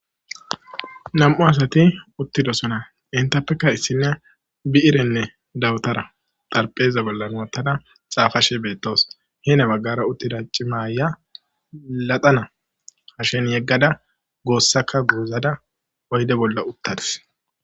Nami'u asati uttidosona entappekka issiniya bi'irenne dawutara xaraphe bolla wottada xaafashe beettawus. Heno baggara uttda cima aayiya laxana hashe bolla yeggada goossakka goozada oyde bolla uttadus.